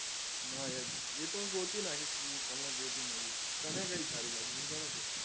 ના યાર એ તો હું જો ગોતી નાખીશ હું ગોતી નાખીશ તને કઈ સારી લાગી એમ કેને તુ